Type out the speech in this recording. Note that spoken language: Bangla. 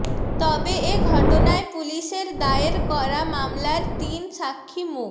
তবে এ ঘটনায় পুলিশের দায়ের করা মামলার তিন স্বাক্ষী মো